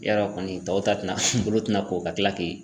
Yarɔ kɔni tɔw ta tina bolo tɛna ko ka tila k'i